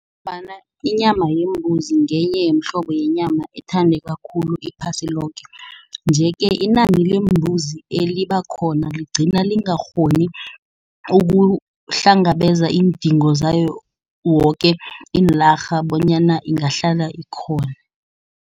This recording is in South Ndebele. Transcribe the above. Ngombana inyama yembuzi ngenye yomhlobo yenyama ethandeka khulu iphasi loke. Nje-ke inani lembuzi eliba khona ligcina lingakghoni ukuhlangabezana iindingo zayo woke iinlarha bonyana ingahlala ikhona.